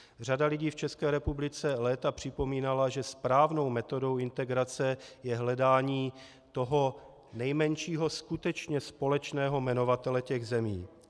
Řada lidí v České republice léta připomínala, že správnou metodou integrace je hledání toho nejmenšího skutečně společného jmenovatele těch zemí.